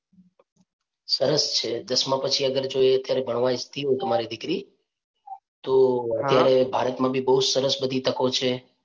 સરસ છે. દસમા પછી અગર જો અત્યારે એ ભણવા ઇચ્છતી હોય તમારી દીકરી તો અત્યારે ભારતમા બી બહુ સરસ બધી તકો છે.